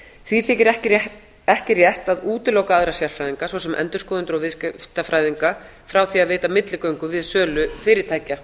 því þykir ekki rétt að útiloka aðra sérfræðinga svo sem endurskoðendur og viðskiptafræðinga frá því að veita milligöngu við sölu fyrirtækja